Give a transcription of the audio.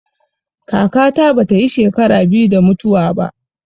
Kaka ta bata yi shekara biyu da mutuwa ba